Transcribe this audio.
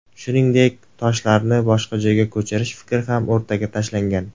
Shuningdek, toshlarni boshqa joyga ko‘chirish fikri ham o‘rtaga tashlangan.